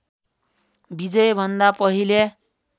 विजयभन्दा पहिले